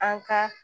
An ka